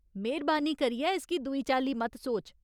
मेह्‌रबानी करियै इसगी दूई चाल्ली मत सोच।